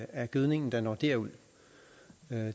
af gødningen der når derud